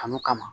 Kanu kama